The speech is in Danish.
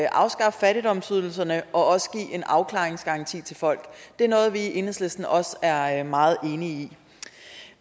afskaffe fattigdomsydelserne og også give en afklaringsgaranti til folk det er noget vi i enhedslisten også er er meget enige i